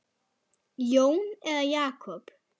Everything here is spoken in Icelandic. Jón eða Jakob?